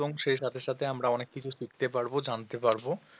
এবং সেই সাথে সাথে আমরা অনেক কিছু শিখতে পারব জানতে পারব